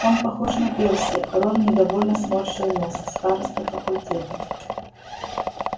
он похож на перси рон недовольно сморщил нос староста факультета